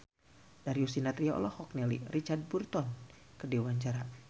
Darius Sinathrya olohok ningali Richard Burton keur diwawancara